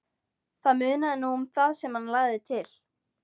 Það munaði nú um það sem hann lagði til.